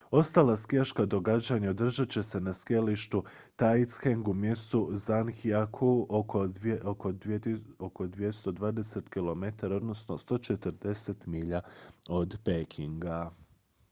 ostala skijaška događanja održat će se na skijalištu taizicheng u mjestu zhangjiakou oko 220 km 140 milja od pekinga